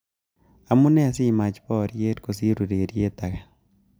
Amune simacgh boriet kosir ureriet ake